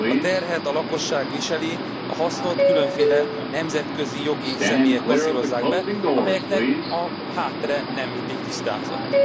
A terhet a lakosság viseli, a hasznot különféle nemzetközi jogi személyek kasszírozzák be, amelyeknek a háttere nem mindig tisztázott.